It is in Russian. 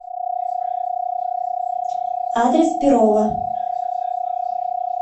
адрес перово